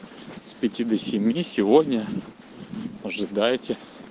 с пяти до семи сегодня ожидайте